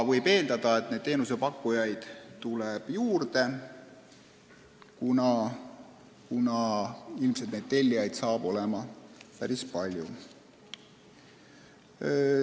Võib eeldada, et teenusepakkujaid tuleb juurde, kuna ilmselt tellijaid saab olema päris palju.